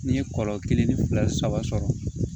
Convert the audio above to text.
N'i ye kɔlɔ kelen ni fila saba sɔrɔ